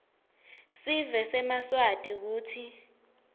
sive semaswati kutsi